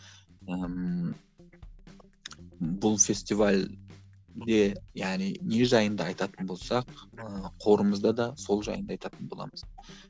ммм бұл фестивальге яғни не жайында айтатын болсақ ыыы қорымызда да сол жайында айтатын боламыз